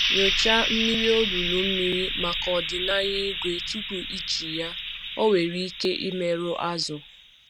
Nyochaa mmiri olulu mmiri maka ọdịnaya ígwè tupu eji ya, ọ nwere ike imerụ azụ̀.